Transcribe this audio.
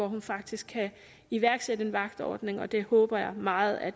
hun faktisk kan iværksætte en vagtordning og det håber jeg meget at